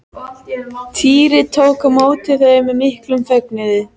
Týri tók á móti þeim með miklum fögnuði.